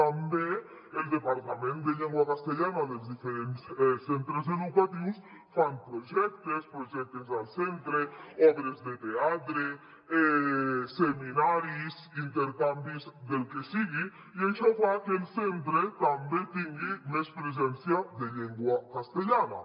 també el departament de llengua castellana dels diferents centres educatius fan projectes projectes al centre obres de teatre seminaris intercanvis del que sigui i això fa que el centre també tingui més presència de llengua castellana